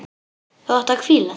Þú átt að hvíla þig.